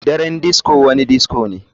Daren disco wani disco ne.